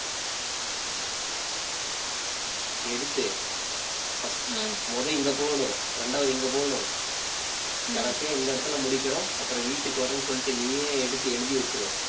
எடுத்து first உ முத இங்க போணும். இரண்டாவது, இங்க போணும். கடைசியா இந்த இடத்துல முடிக்கிறோம். அப்புறம் வீட்டுக்கு வர்றேன்னு சொல்லிட்டு நீயே எடுத்து எழுதி வச்சிடு